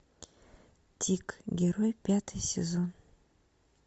тик герой пятый сезон